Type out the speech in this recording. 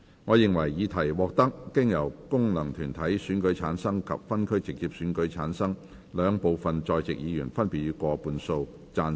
我認為議題獲得經由功能團體選舉產生及分區直接選舉產生的兩部分在席議員，分別以過半數贊成。